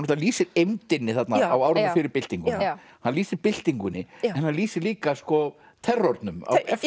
lýsir eymdinni þarna á árunum fyrir byltinguna hann lýsir byltingunni en hann lýsir líka terrornum eftir